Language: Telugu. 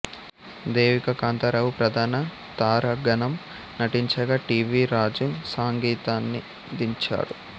దేవిక కాంతారావు ప్రధాన తారాగణం నటించగా టి వి రాజు సంగీతాన్నందించాడు